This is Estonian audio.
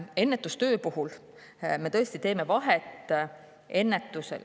Ennetustöö puhul me teeme vahet ennetusel.